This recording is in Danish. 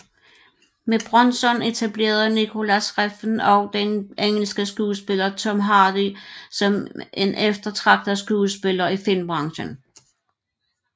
Med Bronson etablerede Nicolas Refn også den engelske skuespiller Tom Hardy som en eftertragtet skuespiller i filmbranchen